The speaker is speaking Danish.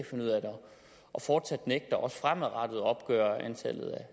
og fortsat nægter også fremadrettet at opgøre antallet